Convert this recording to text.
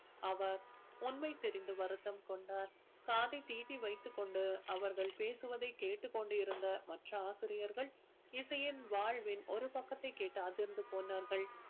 அவர் உண்மை தெரிந்து வருத்தம் கொண்டார் காதை தீட்டி வைத்துக் கொண்டு அவர்கள் பேசுவதை கேட்டுக் கொண்டு இருந்த மற்ற ஆசிரியர்கள் இசையின் வாழ்வின் ஒரு பக்கத்தை கேட்டு அதிர்ந்து போனார்கள்